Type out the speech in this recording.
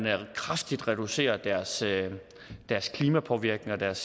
kraftigt reducere deres klimapåvirkning og deres